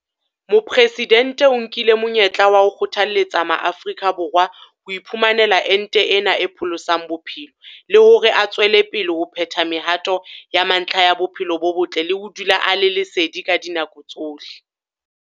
Mopresidente o nkile monyetla wa ho kgothaletsa Maafrika Borwa ho iphumanela ente ena e pholosang bophelo le hore a tswele pele ho phetha mehato ya mantlha ya bophelo bo botle le ho dula a le sedi ka dinako tsohle.